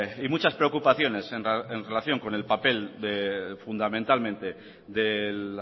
y muchas preocupaciones en relación con el papel fundamentalmente del